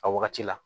A wagati la